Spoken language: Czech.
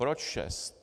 Proč šest?